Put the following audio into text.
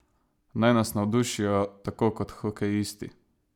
Naj nas navdušijo tako kot hokejisti!